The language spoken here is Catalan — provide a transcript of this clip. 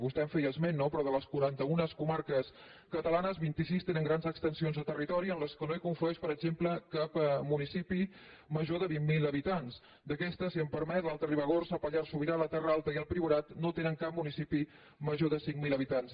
vostè en feia esment no però de les quaranta un comarques catalanes vint sis tenen grans extensions de territori en les quals no hi conflueix per exemple cap municipi major de vint mil habitants d’aquestes si em permet l’alta ribagorça el pallars sobirà la terra alta i el priorat no tenen cap municipi major de cinc mil habitants